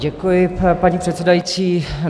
Děkuji, paní předsedající.